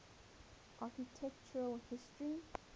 architectural history